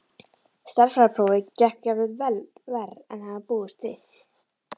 Stærðfræðiprófið gekk jafnvel verr en hann hafði búist við.